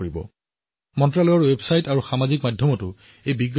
এই তথ্য মন্ত্ৰালয়ৰ ৱেবছাইটতো উপলব্ধ হব আৰু সামাজিক মাধ্যমত দিয়া হব